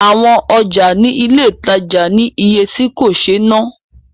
Awọn ọjà ní ilé ìtajà ní iye tí kò sé ná